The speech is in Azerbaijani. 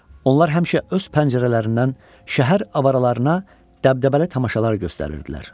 Onlar həmişə öz pəncərələrindən şəhər avaralarına dəbdəbəli tamaşalar göstərirdilər.